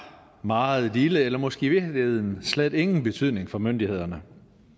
meget lille eller måske i virkeligheden slet ingen betydning for myndighederne